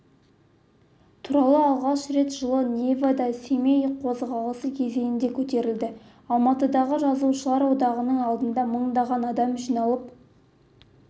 туралы алғаш рет жылы невада-семей қозғалысы кезінде көтерілді алматыдағы жазушылар одағының алдына мыңдаған адам жиналып